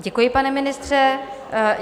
Děkuji, pane ministře.